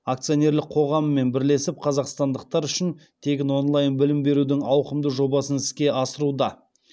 акционерлік қоғамымен бірлесіп қазақстандықтар үшін тегін онлайн білім берудің ауқымды жобасын іске асыруда